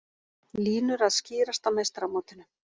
Línur að skýrast á meistaramótinu